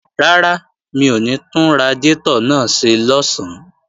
Rárá, mi ò ní tún radiátọ̀ náà ṣe lọ̀sán